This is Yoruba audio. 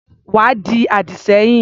Wá di àdì sẹ́yìn.